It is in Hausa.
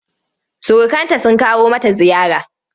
Surukanta sun kawo mata ziyara.